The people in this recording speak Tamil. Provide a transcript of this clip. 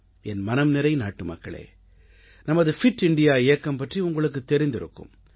என் மனம்நிறை நாட்டுமக்களே நமது பிட் இந்தியா இயக்கம் பற்றி உங்களுக்குத் தெரிந்திருக்கும்